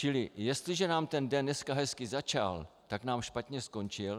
Čili jestliže nám ten den dneska hezky začal, tak nám špatně skončil.